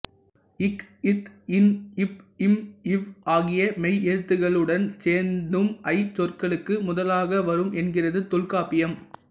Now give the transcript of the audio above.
க் த் ந் ப் ம் வ் ஆகிய மெய்யெழுத்துகளுடன் சேர்ந்தும் ஐ சொற்களுக்கு முதலாக வரும் என்கிறது தொல்காப்பியம்